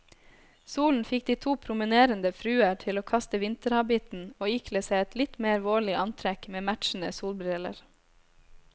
Solen fikk de to promenerende fruer til å kaste vinterhabitten og ikle seg et litt mer vårlig antrekk med matchende solbriller.